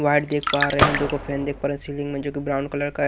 white देख पा रहे हैं दोको फैन देख पा रहे सीलिंग में जो ब्राउन कलर का--